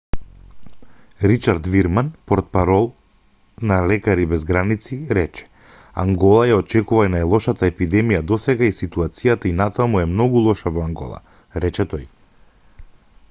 ричард вирман портпарол на лекари без граници рече ангола ја очекува најлошата епидемија досега и ситуацијата и натаму е многу лоша во ангола рече тој